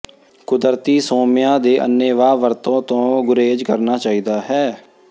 ਕੁਦਰਤੀ ਸੋਮਿਆਂ ਦੀ ਅੰਨੇਵਾਹ ਵਰਤੋਂ ਤੋਂ ਗੁਰੇਜ ਕਰਨਾ ਚਾਹੀਦਾ ਹੈ